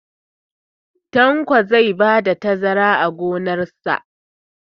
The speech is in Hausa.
Tanko zai bada tazara a gonon shi